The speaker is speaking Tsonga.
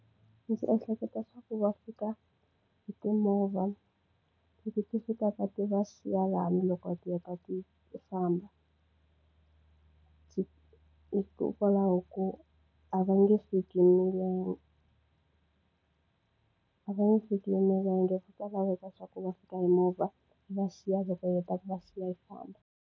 Ndzi ehleketa swa ku va fika hi timovha leti ti fikaka ti va siya laha loko ti heta ti famba. hikokwalaho ko a va nge fiki hi milenge, a va nge fiki hi milenge. Swi ta laveka leswaku va fika hi movha yi va siya, loko yi heta ku va siya yi famba.